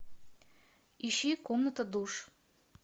ищи комната душ